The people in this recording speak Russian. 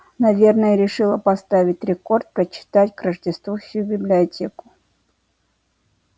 наверное решила поставить рекорд прочитать к рождеству всю библиотеку